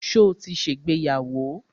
Ṣo ti ṣègbéyàwó?